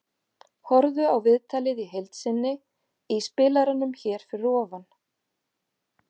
Horfðu á viðtalið í heild sinni í spilaranum hér fyrir ofan.